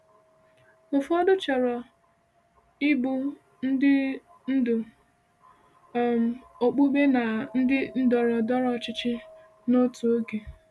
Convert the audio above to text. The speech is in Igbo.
Ụfọdụ chọrọ ịbụ ndị ndu um okpukpe na ndị ndọrọ ndọrọ ọchịchị n’otu oge.